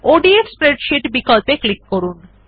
ODF spreadsheet বিকল্পে click করুন